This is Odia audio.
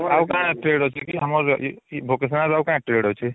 ତମର ଆଉ କଣ trade ଅଛି କି ଆମର ଲାଗି ଇ vocational ରେ ଆଉ କଣ trade ଅଛି